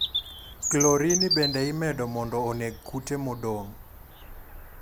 Klorini bende imedo mondo oneg kute modong'.